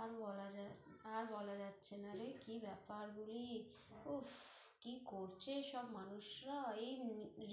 আর বলা যা~ আর বলা যাচ্ছে না রে কী ব্যাপার বলি, ওফ কী করছে এসব মানুষরা এই